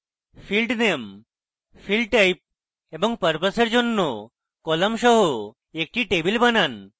field name field type এবং purpose এর জন্য column সহ একটি table বানান